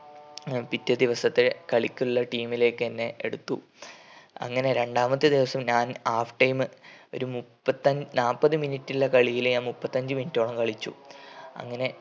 ഏർ പിറ്റേ ദിവസത്തേ കളിക്കുള്ള team ലേക്ക് എന്നെ എടുത്തു. അങ്ങനെ രണ്ടാമത്തെ ദിവസം ഞാൻ half time ഒരു മുപ്പത്ത നാല്പത് minute ഉള്ളെ കളീല് മുപ്പത്തഞ്ചു minute ഓളം ഞാൻ കളിച്ചു അങ്ങനെ